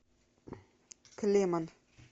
клеман